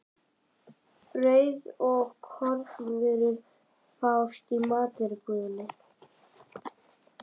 Brauð og kornvörur fást í matvörubúðinni.